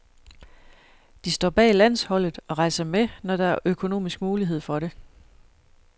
De står bag landsholdet og rejser med, når der er økonomisk mulighed for det.